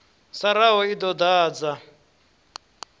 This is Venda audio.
sa raha i ḓo ḓadza